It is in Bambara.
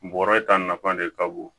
Bɔrɔ ta nafa de ka bon